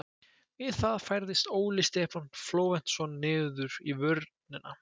Við það færðist Óli Stefán Flóventsson niður í vörnina.